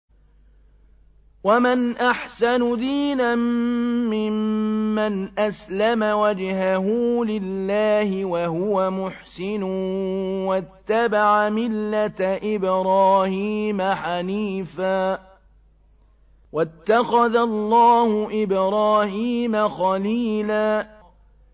وَمَنْ أَحْسَنُ دِينًا مِّمَّنْ أَسْلَمَ وَجْهَهُ لِلَّهِ وَهُوَ مُحْسِنٌ وَاتَّبَعَ مِلَّةَ إِبْرَاهِيمَ حَنِيفًا ۗ وَاتَّخَذَ اللَّهُ إِبْرَاهِيمَ خَلِيلًا